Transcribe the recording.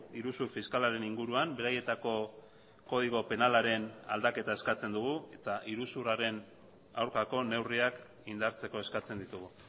iruzur fiskalaren inguruan beraietako kodigo penalaren aldaketa eskatzen dugu eta iruzurraren aurkako neurriak indartzeko eskatzen ditugu